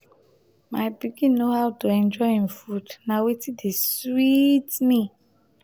my pikin know how to enjoy im food na wetin dey sweet me